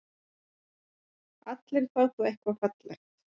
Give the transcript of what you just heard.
Allir fá þá eitthvað fallegt.